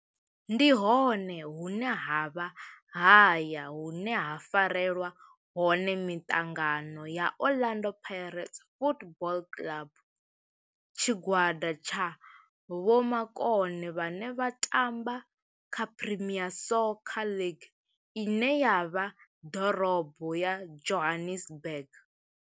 Ndi hone hune havha haya hune ha farelwa hone miṱangano ya Orlando Pirates Football Club. Tshigwada tsha vhomakone vhane vha tamba kha Premier Soccer League ine ya vha ḓorobo ya Johannesburg.